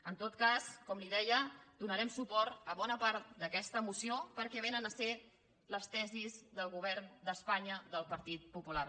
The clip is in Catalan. en tot cas com li deia donarem suport a bona part d’aquesta moció perquè vénen a ser les tesis del govern d’espanya del partit popular